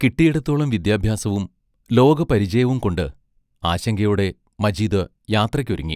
കിട്ടിയിടത്തോളം വിദ്യാഭ്യാസവും ലോകപരിചയവും കൊണ്ട് ആശങ്കയോടെ മജീദ് യാത്രയ്ക്കൊരുങ്ങി.